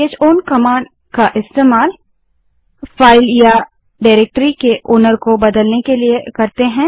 चौन command का इस्तेमाल file या डारेक्टरी के मालिक को बदलने के लिए करते हैं